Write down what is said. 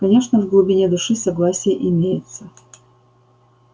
конечно в глубине души согласие имеется